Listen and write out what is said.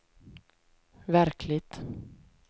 verkligt